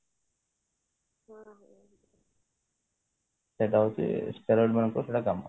ସେଟା ହଉଛି ମାନଙ୍କ କାମ